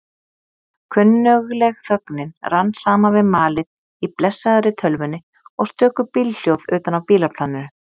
Kunnugleg þögnin rann saman við malið í blessaðri tölvunni og stöku bílhljóð utan af bílaplaninu.